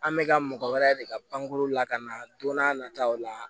An bɛka mɔgɔ wɛrɛ de ka pankurun lakana don n'a nataw la